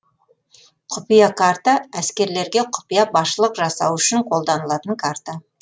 құпия карта әскерлерге құпия басшылық жасау үшін қолданылатын карта